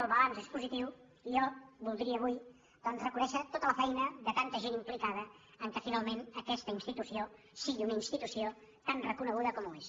el balanç és positiu i jo vol·dria avui doncs reconèixer tota la feina de tanta gent implicada amb el fet que finalment aquesta institució sigui una institució tan reconeguda com ho és